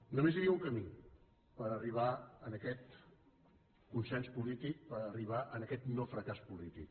només hi havia un camí per arribar a aquest consens polític per arribar a aquest no fracàs polític